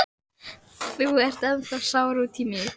Þú ert ennþá sár út í mig.